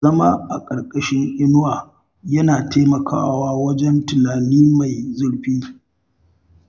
Zama a ƙarƙashin inuwa yana taimakawa wajen tunani mai zurfi.